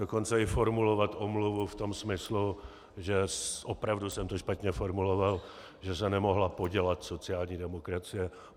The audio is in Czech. Dokonce i formulovat omluvu v tom smyslu, že opravdu jsem to špatně formuloval, že se nemohla podělat sociální demokracie.